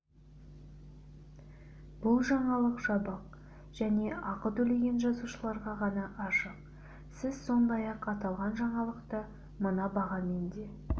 бұл жаңалық жабық және ақы төлеген жазылушыларға ғана ашық сіз сондай-ақ аталған жаңалықты мына бағамен де